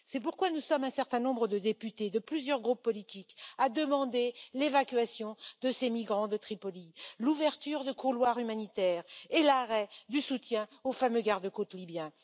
C'est pourquoi nous sommes un certain nombre de députés de plusieurs groupes politiques à demander l'évacuation de ces migrants de Tripoli, l'ouverture de couloirs humanitaires et l'arrêt du soutien aux fameux garde côtes libyens.